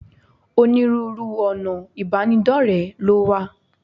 Onírúurú ọ̀nà ìbánidọ́rẹ̀ẹ́ ló wà.